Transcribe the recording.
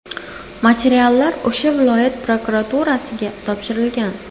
Materiallar O‘sh viloyati prokuraturasiga topshirilgan.